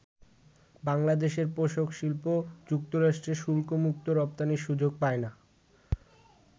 বাংলাদেশের পোষাক শিল্প যুক্তরাষ্ট্রে শুল্ক মুক্ত রপ্তানির সুযোগ পায় না।